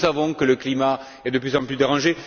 Nous savons que le climat est de plus en plus dérangé.